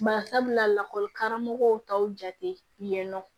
Bari sabula lakɔli karamɔgɔw taw jate yen nɔ